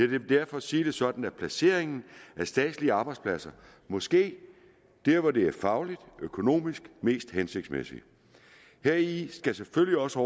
vil derfor sige det sådan at placeringen af statslige arbejdspladser må ske der hvor det er fagligt og økonomisk mest hensigtsmæssigt heri skal selvfølgelig også